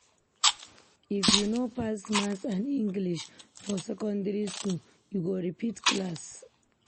If you no pass Maths and English for secondary skool, you go repeat class.